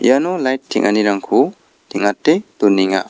iano lait teng·anirangko teng·ate donenga.